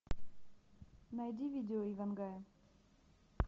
найди видео иван гая